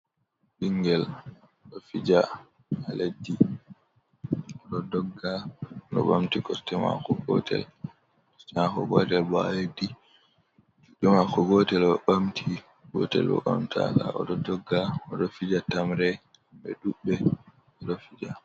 Bingel do fija haa leddi, o ɗo dogga no bamti kosɗe maako gotel, kosɗe maako gotel bo haa leddi, kosɗe maako gotel o bamti gotel bo bamtaka o ɗo dogga o ɗo fija tamre ɓe ɗuɓɓe ɓeɗo fija.